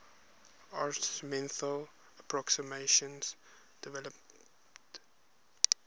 arithmetical approximations developed